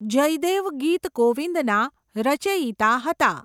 જયદેવ ગીત ગોવિંદના રચયિતા હતા.